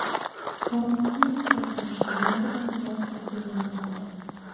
Koronavirusga qarshi yangi dori vositasi yaratildi.